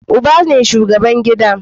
Uba ne shugaban gida